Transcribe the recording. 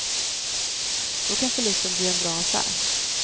Då kan förlusten bli en bra affär.